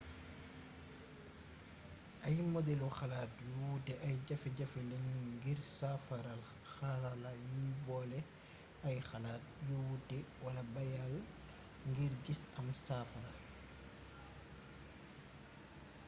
ay modelu xalaat yu wuute ay jafe-jafe lañu ngir saafaral xarala yuy boole ay xalaat yu wuute wala bayaal ngir gis am saafara